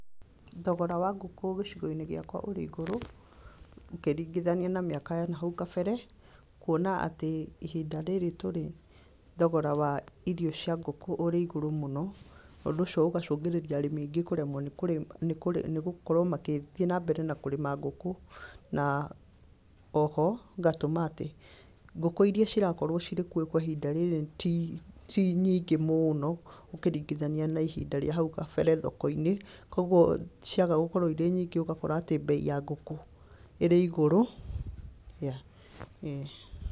Thogora wa ngũkũ gĩcigoini gĩakwa ũrĩ igũrũ ũkĩringithania na mĩaka ya nahau kabere, kũona atĩ ihinda rĩrĩ tũrĩ thogora waa irio cia ngũkũ ũrĩ igũrũ mũno, ũndũ ũcio ũgacũngĩrĩria arĩmi kũremwo nĩ gũkorwo gũthii na mbere na kũrĩma ngũkũ na oho ngatũma atĩ ngũkũ iria cirakorwo cirĩ kuo kwa ihinda rĩrĩ ti nyingĩ mũno ũkĩringithania na ihinda rĩa haũ kabere thokoinĩ kwoguo ciaga gũkorwo cirĩ nyingĩ ũgakora atĩ bei ya ngũkũ ĩrĩ igũrũ.